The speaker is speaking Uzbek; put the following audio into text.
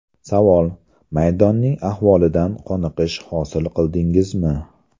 Savol: Maydonning ahvolidan qoniqish hosil qildingizmi?